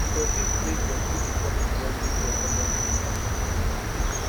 im predict say dem fit become di world leading economies by 2050